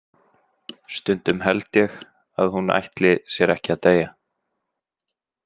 Stundum held ég að hún ætli sér ekki að deyja.